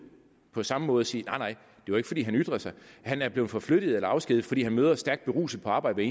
på samme måde og sige nej det var ikke fordi han ytrede sig han er blevet forflyttet eller afskediget fordi han møder stærkt beruset på arbejde